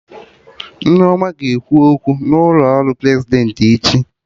Nneoma ga-ekwu okwu n'ụlọ ọrụ Prezidentị echi